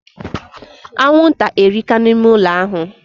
Anwụnta erika na ime ụlọ ahụ